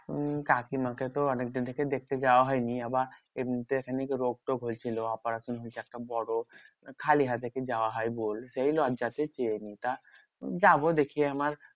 উম কাকিমাকে তো অনেকদিন থেকে দেখতে যাওয়া হয় নি। আবার এমনিতে খানিক রোগ টোগ হয়েছিল operation হয়েছে একটা বড়। খালি হাতে কি যাওয়া হয় বল? সেই লজ্জাতে যেয়ে নি। তা যাবো দেখি একবার